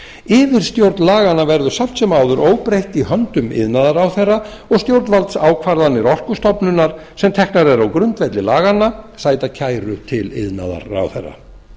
yfirstjórn laganna verður samt sem áður óbreytt í höndum iðnaðarráðherra og stjórnvaldsákvarðanir orkustofnunar sem teknar eru á grundvelli laganna sæta kæru til iðnaðarráðherra